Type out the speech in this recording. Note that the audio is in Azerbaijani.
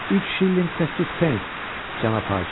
Üç şillinq səkkiz pens, cənab hakim.